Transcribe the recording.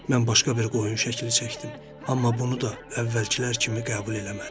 Mən başqa bir qoyun şəkli çəkdim, amma bunu da əvvəlkilər kimi qəbul eləmədi.